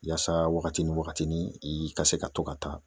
Yaasa wagati ni wagatinin, i ka se ka to ka taa